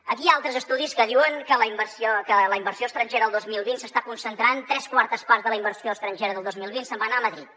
aquí hi ha altres estudis que diuen que la inversió estrangera el dos mil vint s’està concentrant tres quartes parts de la inversió estrangera del dos mil vint se’n va anar a madrid